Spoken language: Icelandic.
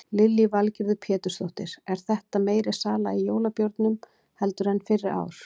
Lillý Valgerður Pétursdóttir: Er þetta meiri sala í jólabjórnum heldur en fyrri ár?